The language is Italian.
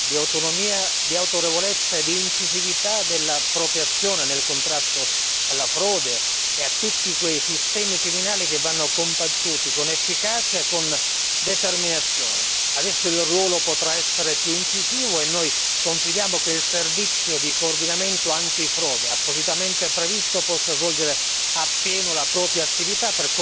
L'OLAF ha bisogno di indipendenza, di autonomia, di autorevolezza e di incisività della propria azione nel contrasto alla frode e a tutti quei sistemi criminali che vanno combattuti con efficacia e con determinazione. Adesso il suo ruolo potrà essere più incisivo e noi confidiamo che il servizio di coordinamento antifrode appositamente previsto possa svolgere